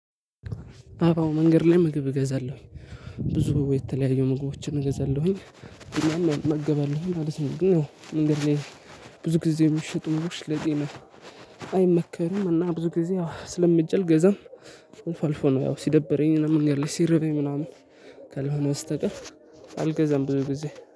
አበባው መንገድ ላይ ምግብ እገዛለሁኝ። ብዙ የተለያዩ ምግቦችን እገዛለሁኝ። እና እመገባለሁኝ ነው እንግዲህ ብዙ ጊዜ የሚሽጡ ምግቦች ለጤና አይመከርም። እና ብዙ ጊዜ አስለምጄ አልገዛም። አልፎ አልፎ ነው። ያው ሲደብረኝ እና መንገድ ላይ ሲርበኝ ምናምን ካልሆነ በስትቀር አልገዛም። ብዙ ጊዜ